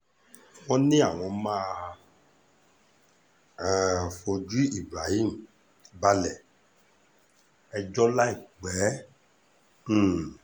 wọ́n ní àwọn máa um fojú ibrahim balẹ̀-ẹjọ́ láìpẹ́ rárá um